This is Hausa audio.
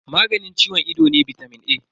Maganin ciwon ido ne bitamin A.